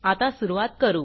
आता सुरूवात करू